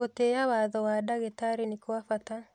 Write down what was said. Gũtĩĩa watho wa ndagĩtarĩ ni kwa bata